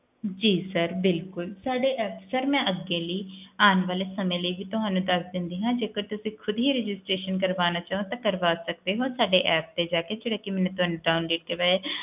ਜੀ sir ਬਿਲਕੁਲ ਸਾਡੇ ਅਕਸਰ ਮੈਂ ਅੱਗੇ ਵੀ ਅੱਗੇ ਆਂ ਵਾਲੇ ਸਮੇ ਲਾਇ ਤੁਹਾਨੂੰ ਦੱਸ ਦਿਨੀ ਆ ਜੇਕਰ ਤੁਸੀਂ ਖੁਦ ਹੀ registeration ਕਰਵਾਣਾ ਚਾਹੋ ਤਾਂ ਕਰਵਾ ਸਕਦੇ ਹੋ ਤੇ app ਜਾ ਕੇ